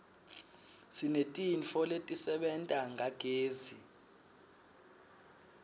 sinetintfo letisebenta ngagezi